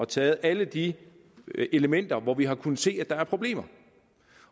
taget alle de elementer hvor vi har kunnet se at der er problemer